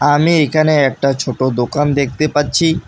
আমি এইখানে একটা ছোট দোকান দেখতে পাচ্ছি।